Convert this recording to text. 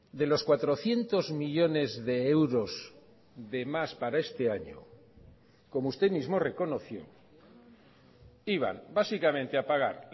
de los cuatrocientos millónes de euros de más para este año como usted mismo reconoció iban básicamente a pagar